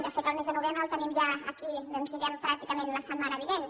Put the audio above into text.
de fet el mes de novembre el tenim ja aquí doncs diguem ne pràcticament la setmana vinent